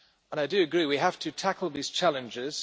I agree we have to tackle these challenges